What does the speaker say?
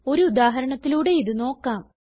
ഒരു ഉദാഹരണത്തിലൂടെ ഇത് നോക്കാം